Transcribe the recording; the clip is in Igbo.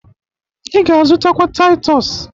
Ị ga azụtakwa Taịtọs